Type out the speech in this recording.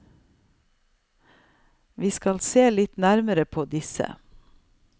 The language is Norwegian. Vi skal se litt nærmere på disse.